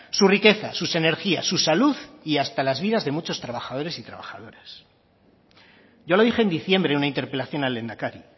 su riqueza sus energías su salud y hasta la vida de muchos trabajadores y trabajadoras yo lo dije en diciembre en una interpelación al lehendakari